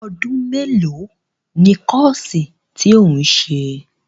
Ọdún mélòó ni kọ́ọ̀sì tí ò ń ṣe?